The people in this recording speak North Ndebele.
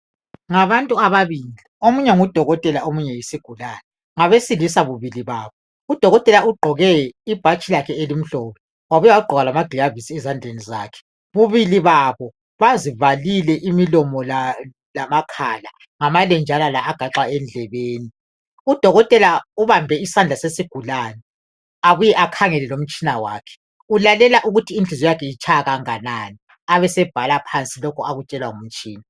Ngabantu ababili. Omunye ngudokotela omunye yisigulane. Ngabesilisa bubili babo. Udokotela ugqoke ibhatshi lakhe elimhlophe wabuya wagqoka lamaglavisi ezandleni zakhe. Bubili babo bazivalile imilomo lamakhala ngamalenjana la agaxwa endlebeni. Udokotela ubambe isandla sesigulane, abuye akhangele lomtshina wakhe. Ulalela ukuthi inhliziyo yakhe itshaya kanganani abesebhala phansi lokhu akutshelwa ngumtshina.